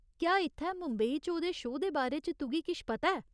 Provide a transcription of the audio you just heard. क्या इत्थै मुंबई च ओह्‌दे शो दे बारे च तुगी किश पता ऐ ?